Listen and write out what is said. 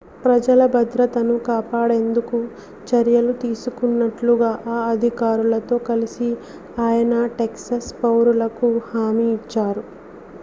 ప్రజల భద్రతను కాపాడేందుకు చర్యలు తీసుకుంటున్నట్లు ఆ అధికారులతో కలిసి ఆయన టెక్సాస్ పౌరులకు హామీ ఇచ్చారు